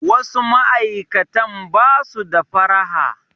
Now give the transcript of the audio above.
Wasu ma'aikatan ba su da faraha.